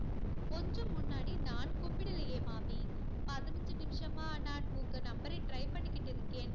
கொஞ்சம் முன்னாடி நான் கூப்பிடலயே மாமி. பதினஞ்சு நிமிஷமா நான் உங்க number ஐ try பண்ணிக்கிட்டு இருக்கேன்.